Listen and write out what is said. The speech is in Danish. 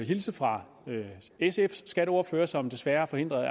hilse fra sfs skatteordfører som desværre er forhindret